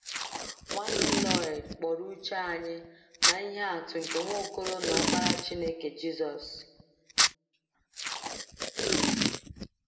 Nwanne Lloyd kpọrọ uche anyị na ihe atụ nke Nwaokolo na Ọkpara Chineke, Jizọs.